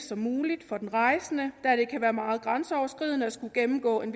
som muligt for den rejsende da det kan være meget grænseoverskridende at skulle gennemgå en